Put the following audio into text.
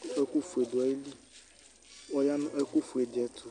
kʋ ɛkʋ ƒʋɛ dʋali, ɔya nʋ ɛkʋ ƒʋɛ di ɛtʋ